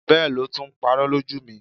Bẹ́ẹ̀ lo tún ń parọ́ lójú mi.